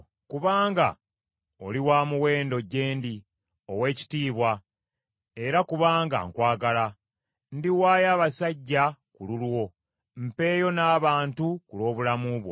Kubanga oli wa muwendo gye ndi, ow’ekitiibwa, era kubanga nkwagala, ndiwaayo abasajja ku lulwo mpeeyo n’abantu ku lw’obulamu bwo.